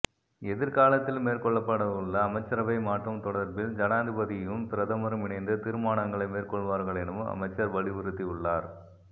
எதிர்காலத்தில் மேற்கொள்ளப்படவுள்ள அமைச்சரவை மாற்றம் தொடர்பில் ஜனாதிபதியும் பிரதமரும் இணைந்து தீரமனாங்களை மேற்கொள்வார்கள் எனவும் அமைச்சர் வலியுறுத்தியுள்ளார்